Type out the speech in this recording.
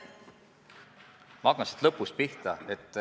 Ma hakkan lõpust pihta.